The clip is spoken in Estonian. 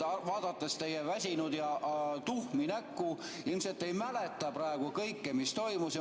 Vaadates teie väsinud ja tuhmi näkku, te ilmselt ei mäleta praegu kõike, mis toimus.